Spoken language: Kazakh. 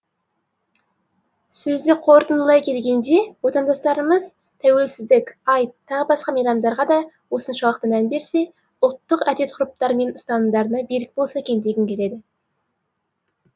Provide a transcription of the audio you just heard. сөзді қорытындылай келгенде отандастарымыз тәуелсіздік айт тағы басқа мейрамдарға да осыншалықты мән берсе ұлттық әдет ғұрыптарымен ұстанымдарына берік болса екен дегім келеді